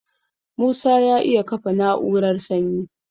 Musa ya iya kafa na'urar sanyi